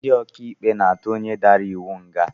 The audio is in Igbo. Ndị ọkaikpe na-atụ onye dara iwu nga